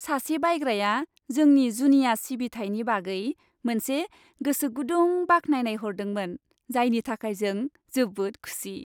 सासे बायग्राया जोंनि जुनिया सिबिथायनि बागै मोनसे गोसो गुदुं बाख्नायनाय हरदोंमोन, जायनि थाखाय जों जोबोद खुसि।